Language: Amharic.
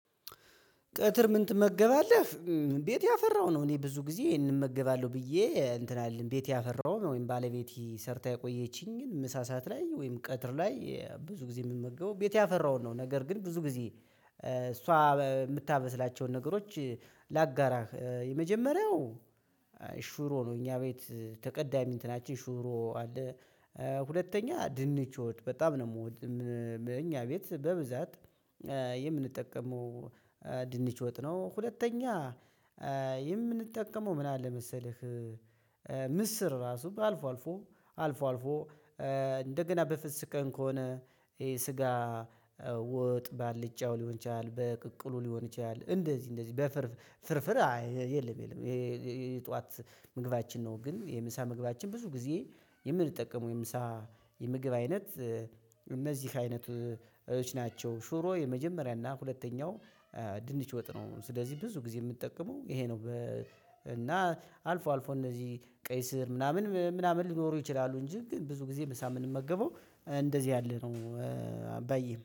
ቀትር ምን ትመገባለህ ቤት ያፈራው ነው? እኔ ብዙ ጊዜ ይሄንን እመገባለሁ ብዬ እንትን አልልም ቤት ያፈራው ወይም ባለቤቴ ሰርታ የቆየችኝ ግን ምሳ ሰዓት ላይ ወይም ቀትር ላይ ብዙ ጊዜ ምመገበው ቤት ያፈራውን ነው ነገር ግን ብዙ ጊዜ እሷ የምታመብስላቸውን ነገሮች ላጋራ የመጀመሪያው ሽሮ ነው። እኛ ቤት ተቀዳሚ እንትናችን ሽሮ አለ ሁለተኛ ድንች ወጥ በጣም ነው የምወደው እኛ ቤት በብዛት የምንጠቀመው ድንች ወጥ ነው። ሁለተኛ የምንጠቀመው ምን አለ መሰለህ ምስር እራሱ አልፎልፎ አልፎልፎ እንደገና በፍስግ ቀን ከሆነ ይሄ ስጋ ወጥ በአልጫው ሊሆን ይችላል በቅቅሉ ሊሆን ይችላል እንደዚህ እንደዚህ በፍርፍር ፍርፍር አይ የለም የለም። የጠዋት ምግባችን ነው ግን የምሳ ምግባችን ብዙ ጊዜ የምንጠቀመው የምሳ የምግብ አይነት እነዚህ አይነቶች ናቸው። ሽሮ የመጀመሪያና ሁለተኛው ድንች ወጥ ነው ስለዚህ ብዙ ጊዜ የምጠቀመው ይሄ ነው። እና አልፎ አልፎ እነዚህ ቀይ ስር ምናምን ምናምን ሊኖሩ ይችላሉ እንጂ ብዙ ጊዜ ምሳ የምንመገበው እንደዚህ ያለ ነው። በይ